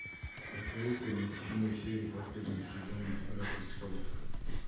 посоветуй мне седьмую серию последнего сезона игра престолов